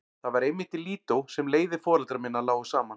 Það var einmitt í Lídó sem leiðir foreldra minna lágu saman.